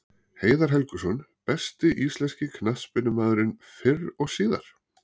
Heiðar Helguson Besti íslenski knattspyrnumaðurinn fyrr og síðar?